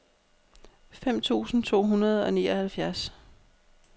fem tusind to hundrede og nioghalvfjerds